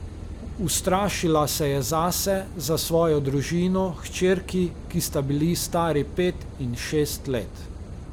Ustrašila se je zase, za svojo družino, hčerki, ki sta bili stari pet in šest let.